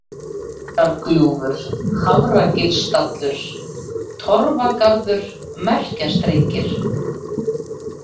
Skorargljúfur, Hafragilsstallur, Torfagarður, Merkjastrengir